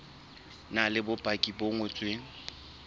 na le bopaki bo ngotsweng